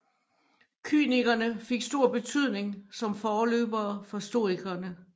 Kynikerne fik stor betydning som forløbere for stoikerne